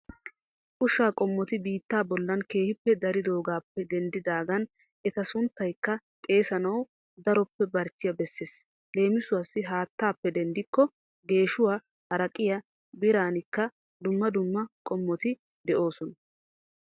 Ushsha qomoti biitta bollan keehi dariddoogappe denddidaagan etta sunttayikka xeessanawu daroppe barichiya besses leemisuwassi haattappe denddikko, geeshshuwa, haraqqiya, biiraanikka dumma dumma qommoti de'oosona.